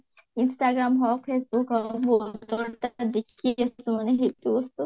instagram হৌক facebook হৌক বহুতৰ মানে দেখি আচু মানে সেইটো বস্তু